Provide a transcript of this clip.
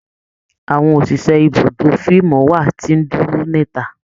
Àwọn òṣìṣẹ́ ibùdó fíìmù wa ti ń dúró níta